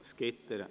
Es gibt solche.